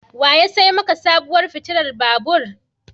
Wa ya sai maka sabuwar fitilar babur?